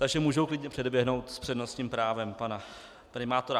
Takže můžu klidně předběhnout s přednostním právem pana primátora.